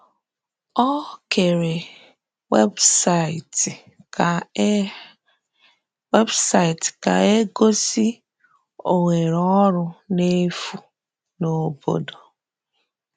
Ọ kèrè webụsaịtị ka e webụsaịtị ka e gosi ohere ọrụ n’efu n’obodo.